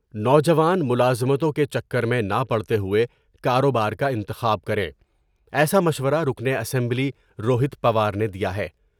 نوجوان ملازمتوں کے چکر میں نہ پڑتے ہوئے کاروبار کا انتخاب کریں ایسا مشورہ رکن اسمبلی روہیت پوار نے دیا ہے ۔